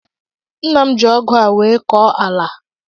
Nna m ji Ọgụ a nwee kọọ ala a